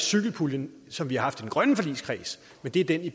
cykelpuljen som vi har haft i den grønne forligskreds men det er den i